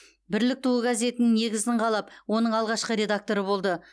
бірлік туы газетінің негізін қалап оның алғашқы редакторы болды